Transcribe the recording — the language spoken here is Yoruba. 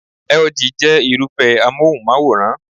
LG jẹ́ Irúfẹ́ amóhùnmáwòrán